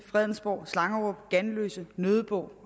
fredensborg slangerup ganløse nødebo